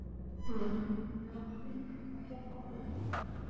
Þegar nær dró jólum var ekkert farið að ganga betur.